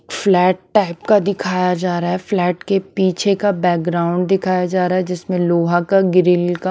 flat type का दिखाया जा रहा है फ्लैट के पीछे का बैकग्राउंड दिखाया जा रहा है जिसमें लोहा का ग्रिल का --